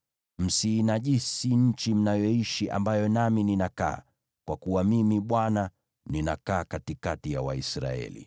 Msiinajisi nchi mnayoishi, ambayo nami ninakaa, kwa kuwa Mimi, Bwana , ninakaa katikati ya Waisraeli.’ ”